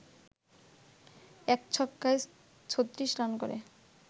১ ছক্কায় ৩৬ রান করে